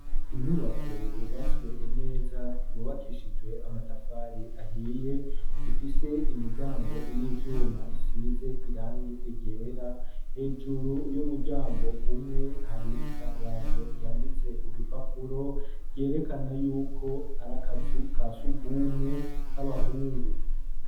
Inyubako yubatswe neza yubakishijwe amatafari ahiye ifise imiryango y'ivyuma isize irangi ryera hejuru y'umuryango umwe hari itangazo ryanditse ku gipapuro ryerekana yuko arakazu kasugumwe k'abahungu.